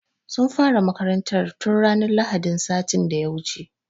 Sun fara makarantar tun ranar lahadin sati da ya wuce.